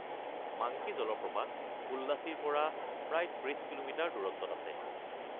Monkey জলপ্ৰপাত পোল্লাচিৰ পৰা প্ৰায় ৩০ কিলোমিটাৰ দূৰত্বত আছে।